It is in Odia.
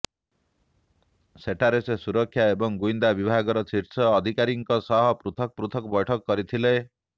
ସେଠାରେ ସେ ସୁରକ୍ଷା ଏବଂ ଗୁଇନ୍ଦା ବିଭାଗର ଶୀର୍ଷ ଅଧିକାରୀଙ୍କ ସହ ପୃଥକ ପୃଥକ ବୈଠକ କରିଥିଲେ